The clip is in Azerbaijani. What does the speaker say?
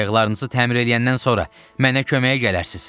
Qayıqlarınızı təmir eləyəndən sonra mənə köməyə gələrsiz.